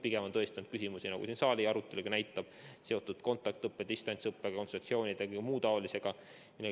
Pigem on tõesti olnud küsimusi, nagu siin ka saali arutelu näitab, mis on seotud kontaktõppe ja distantsõppe kontseptsioonide ja muu taolisega.